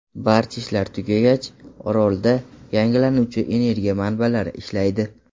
Barcha ishlar tugagach, orolda yangilanuvchi energiya manbalari ishlaydi.